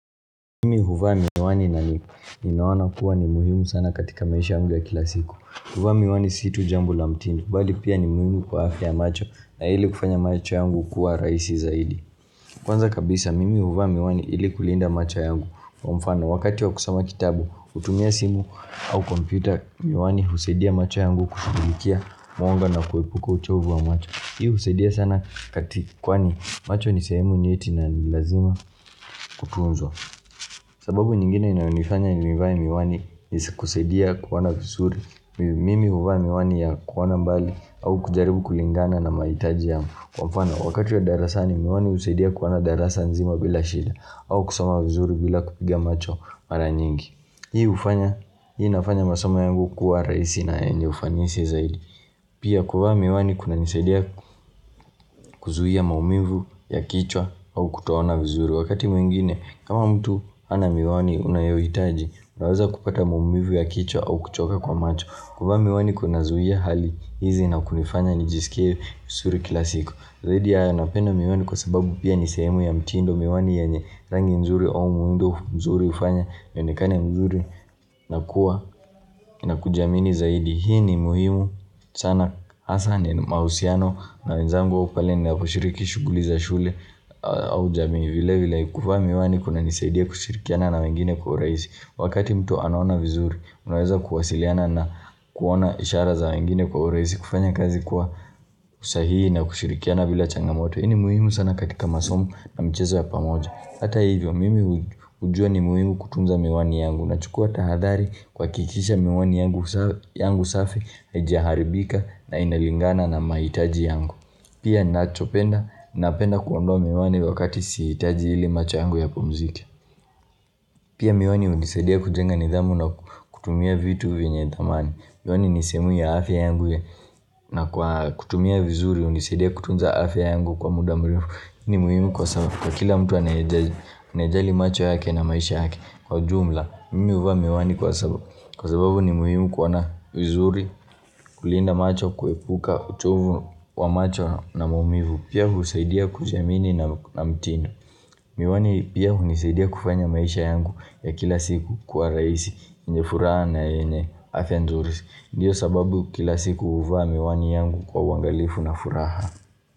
Mimi huvaa miwani na nipo ninaona kuwa ni muhimu sana katika maisha yangu ya kila siku kuvaa miwani si tu jambo la mtindo bali pia ni muhimu kwa afya ya macho na ili kufanya macho yangu kuwa rahisi zaidi Kwanza kabisa mimi huvaa miwani ili kulinda macho yangu Kwa mfano, wakati wa kusoma kitabu utumia simu au kompyuta Miwani usadia macho yangu kushugulikia mwonga na kuepuka uchovu wa macho Hii usadia sana kati kwani macho ni sehemu nyeti na ni lazima kutunzwa sababu nyingine inyonifanya nivae miwani ni kusaidia kuona vizuri Mimi uvaa miwani ya kuona mbali au kujaribu kulingana na maitaji yamu Kwa mfano wakati wa darasani miwani usaidia kuona darasa nzima bila shida au kusoma vizuri bila kupiga macho mara nyingi Hii ufanya, hii inafanya masoma yangu kuwa rahisi na yenye ufanisi zaidi Pia kuvaa miwani kunanisaidia kuzuia maumivu ya kichwa au kutoona vizuri Wakati mwingine kama mtu hana miwani unayoitaji, unaweza kupata maumivu ya kichwa au kuchoka kwa macho kuvaa miwani kunazuia hali hizi na kunifanya nijiskie visuri kila siku Zaidi ya haya napenda miwani kwa sababu pia ni sehemu ya mtindo Miwani yenye rangi nzuri au muundo mzuri ufanya nionekane mzuri nakuwa na kujamini zaidi Hii ni muhimu sana hasa ni mausiano na wenzangu au pale ninapo shiriki shuguli za shule au jamii vile vila kuvaa miwani kunanisaidia kushirikiana na wengine kwa urahisi Wakati mtu anona vizuri unaweza kuwasiliana na kuona ishara za wengine kwa uraisi kufanya kazi kwa usahii na kushirikiana bila changamoto Hi ni muhimu sana katika masomo na michezo ya pamoja Hata hivyo mimi ujua ni muhimu kutunza miwani yangu Nachukua tahadhari kwakikisha miwani yangu safi hajiaharibika na inalingana na maitaji yangu pia nachopenda napenda kuondoa miwani wakati siitaji ili macho yangu yapumzike pia miwani unisadia kujenga nidhamu na kutumia vitu venye thamani miwani ni sehemu ya afya yangu ya na kwa kutumia vizuri unisadia kutunza afya yangu kwa muda mrefu hiu ni muhimu kwa sababu kwa kila mtu anayejali macho yake na maisha yake kwa jumla mimi uvaa miwani kwa sababu Kwa sababu ni muhimu kuona vizuri, kulinda macho kwepukka uchovu wa macho na maumivu. Pia huu saidia kujiamini na mtinfo. Miwani pia unisaidia kufanya maisha yangu ya kila siku kuwa raisi yenye furaha na yenye afya nzuri. Ndiyo sababu kila siku uvaa miwani yangu kwa uangalifu na furaha.